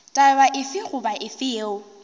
taba efe goba efe yeo